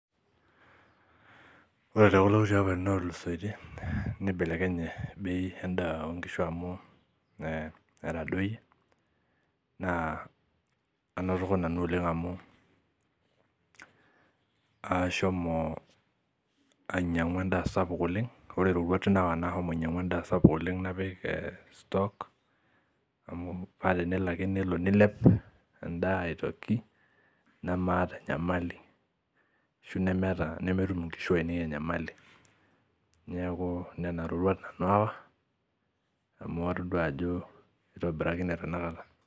Ore tekulo kuti apaitin otulusoitie nibelekenye bei endaa onkishu amu etadoyie naa anotoko nanu oleng amu aashomo ainyiang'u endaa sapuk oleng ore iroruat nawa naahomo ainyiang'u endaa sapuk oleng napik eh stock paa tenelo ake nelo nilep endaa aitoki nemaata enyamali ashu nemeeta ashu nemeum inkishu ainepi enyamali niaku nena roruat nanu aawa amu todua ajo itobirakine tenakata.